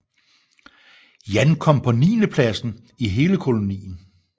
Jan kom på niendepladsen i hele kolonien